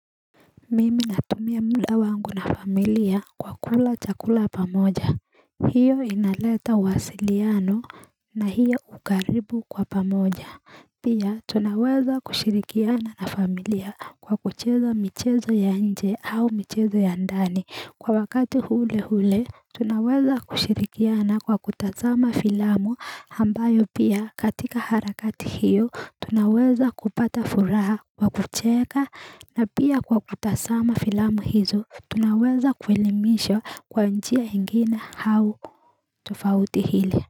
Mimi natumia muda wangu na familia kwa kula chakula pamoja hiyo inaleta mawasiliano na hiyo ukaribu kwa pamoja Pia tunaweza kushirikiana na familia kwa kuchezo michezo ya nje au michezo ya ndani kwa wakati ule ule tunaweza kushirikiana kwa kutazama filamu ambayo pia katika harakati hiyo tunaweza kupata furaha kwa kucheka na pia kwa kutazama filamu hizo tunaweza kuelimishwa kwa njia ingine au tufauti hili.